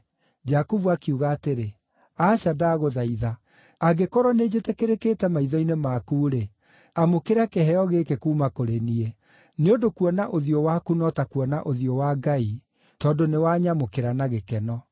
Jakubu akiuga atĩrĩ, “Aca, ndagũthaitha! Angĩkorwo nĩnjĩtĩkĩrĩkĩte maitho-inĩ maku-rĩ, amũkĩra kĩheo gĩkĩ kuuma kũrĩ niĩ. Nĩ ũndũ kuona ũthiũ waku no ta kuona ũthiũ wa Ngai, tondũ nĩ wanyamũkĩra na gĩkeno.